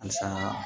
Asan